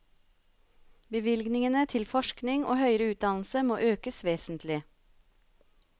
Bevilgningene til forskning og høyere utdannelse må økes vesentlig.